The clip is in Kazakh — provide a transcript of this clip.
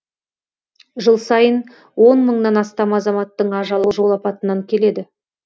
жыл сайын он мыңнан астам азаматтың ажалы жол апатынан келеді